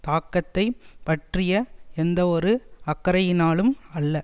தாக்கத்தை பற்றிய எந்தவொரு அக்கறையினாலும் அல்ல